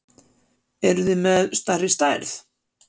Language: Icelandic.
Eruð þið með stærri stærð?